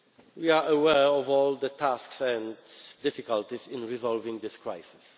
We are aware of all the tasks and difficulties in resolving this crisis.